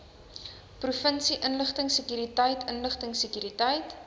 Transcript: provinsie inligtingsekuriteit inligtingsekuriteit